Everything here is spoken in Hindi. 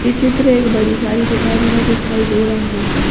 ये चित्र एक बड़ी सारी दुकान का दिखाई दे रहा है।